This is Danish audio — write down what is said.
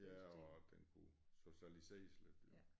Ja og den kunne socialiseres lidt jo